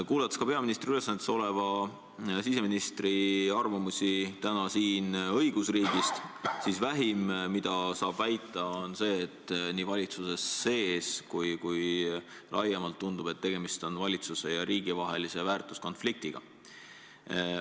Kuulates täna ka peaministri ülesannetes oleva siseministri arvamusi õigusriigist, siis vähim, mida saab väita, on see, et nii valitsuses sees kui ka laiemalt tundub, et tegemist on valitsuse ja riigi vahelise väärtuskonfliktiga.